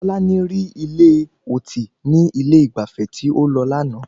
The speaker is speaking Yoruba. Tọ́lání rí ilé ọtí ní ilé ìgbafẹ́ tí ó lọ lánàá